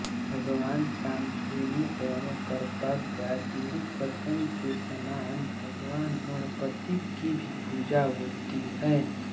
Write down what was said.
भगवान कामधेनु एवं करपगा विरुकशम के समान भगवान गणपति की भी पूजा होती है